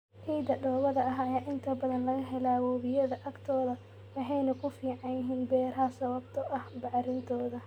Ciidda dhoobada ah ayaa inta badan laga helaa webiyada agtooda waxayna ku fiican yihiin beeraha sababtoo ah bacrintooda.